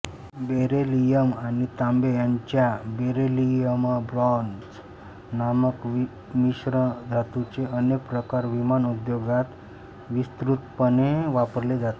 beryllium आणि तांबे यांच्या बेरिलियमब्रॉंझ नामक मिश्रधातूचे अनेक प्रकार विमान उद्योगात विस्तृतपणे वापरले जातात